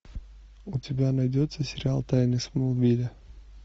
у тебя найдется сериал тайны смолвиля